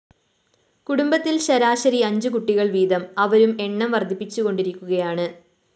കുടുംബത്തില്‍ ശരാശരി അഞ്ച്‌ കുട്ടികള്‍ വീതം അവരും എണ്ണം വര്‍ധിപ്പിച്ചുകൊണ്ടിരിക്കുകയാണ്‌